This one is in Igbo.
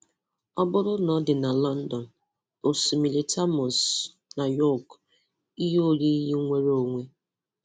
Ọ bụrụ na ọ dị na Lọndọn, Osimiri Osimiri Thames, Nu Yọk; Ihe oyiyi nnwere onwe